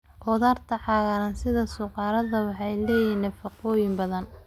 Khudaarta cagaaran sida suqaarada waxay leeyihiin nafaqooyin badan.